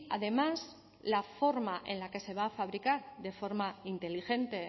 además la forma en la que se va a fabricar de forma inteligente